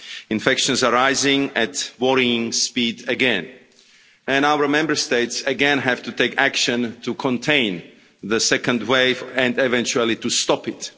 Infections are rising at a worrying speed again and our Member States again have to take action to contain the second wave and eventually to stop it.